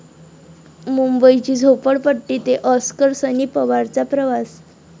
मुंबईची झोपडपट्टी ते आॅस्कर...सनी पवारचा प्रवास